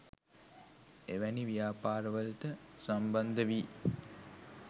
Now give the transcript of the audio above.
එවැනි ව්‍යාපාර වලට සම්බන්ධ වී